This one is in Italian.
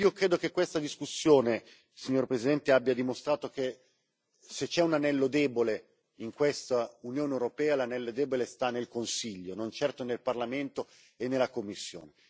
Io credo che questa discussione, signora Presidente, abbia dimostrato che se c'è un anello debole in questa Unione europea, l'anello debole sta nel Consiglio, non certo nel Parlamento e nella Commissione.